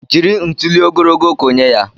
Jiri ntuli ogologo kụnye ya!